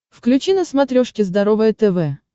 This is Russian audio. включи на смотрешке здоровое тв